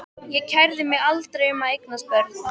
Ég kærði mig aldrei um að eignast börn.